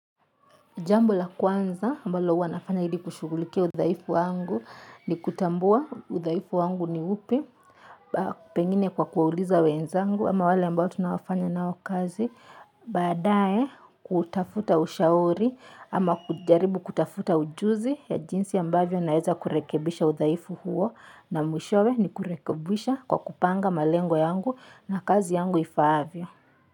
Jambo la kwanza ambalo huwa nafanya ili kushughulikia udhaifu wangu ni kutambua udhaifu wangu ni upi pengine kwa kuwauliza wenzangu ama wale ambao tunaofanya nao kazi baadae kutafuta ushauri ama kujaribu kutafuta ujuzi ya jinsi ambavyo naweza kurekebisha udhaifu huo na mwishowe ni kurekebisha kwa kupanga malengo yangu na kazi yangu ifaavyo.